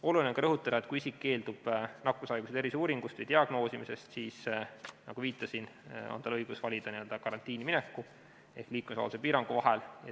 Oluline on ka rõhutada, et kui isik keeldub nakkushaiguse terviseuuringust või diagnoosimisest, siis, nagu viitasin, on tal õigus valida n-ö karantiini minek ehk liikumisvabaduse piirang.